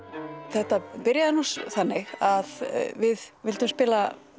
þetta byrjaði nú þannig að við vildum spila